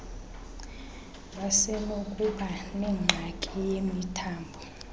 basenokuba nengxaki yemithambo